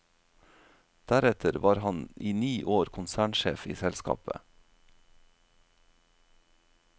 Deretter var han i ni år konsernsjef i selskapet.